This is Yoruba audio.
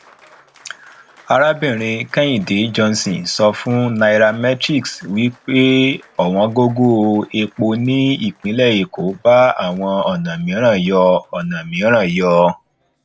arábìnrin kehinde johnson so fun nairametrics wípé òwón gogo epo ni ipinle eko bá àwọn ọnà míràn yọ ọnà míràn yọ